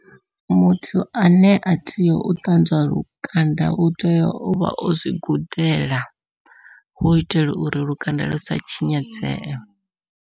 Muthu ane a tea u ṱanzwa lukanda u tea ovha ozwi gudela hu itela uri lukanda lu sa tshinyadzee.